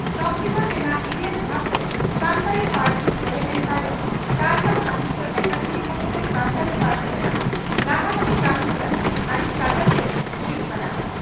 ᱥᱚᱢᱵᱤᱫᱷᱟᱱ ᱨᱮᱱᱟᱜ ᱤᱨᱟᱹᱞ ᱫᱷᱟᱯ ᱨᱮ ᱥᱟᱱᱛᱟᱲᱤ ᱯᱟᱹᱨᱥᱤ ᱥᱮᱞᱮᱫ ᱮᱱ ᱛᱟᱭᱚᱢ ᱛᱟᱞᱢᱟ ᱥᱟᱦᱤᱛᱭᱚ ᱟᱠᱟᱫᱮᱢᱤ ᱦᱚᱛᱮᱛᱮ ᱥᱟᱱᱛᱟᱲᱤ ᱯᱟᱹᱨᱥᱤ ᱨᱮᱱᱟᱜ ᱞᱟᱦᱟᱱᱛᱤ ᱠᱟᱹᱢᱤᱦᱚᱨᱟ ᱟᱹᱰᱤ ᱠᱟᱡᱟᱠ ᱛᱮ ᱦᱩᱭᱩᱜ ᱠᱟᱱᱟ ᱾